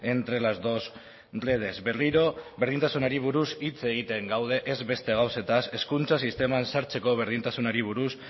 entre las dos redes berriro berdintasunari buruz hitz egiten gaude ez beste gauzetaz hezkuntza sisteman sartzeko berdintasunari buruz